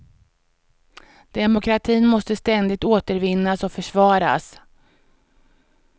Demokratin måste ständigt återvinnas och försvaras.